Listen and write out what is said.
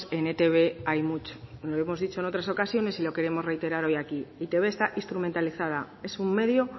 en etb hay mucho lo hemos dicho en otras ocasiones y lo queremos reiterar hoy aquí e i te be está instrumentalizada es un medio